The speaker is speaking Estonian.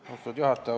Austatud juhataja!